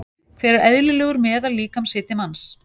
Hver er eðlilegur meðal-líkamshiti manns?